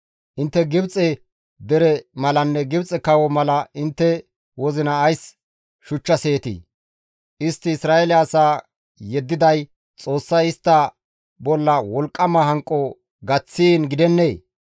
Intte Gibxe dere malanne Gibxe kawo mala intte wozina ays shuchchaseetii? Istti Isra7eele asaa yeddiday Xoossay istta bolla wolqqama hanqo gaththiin gidennee?